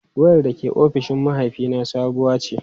Wayar da ke ofishin mahaifina sabuwa ce.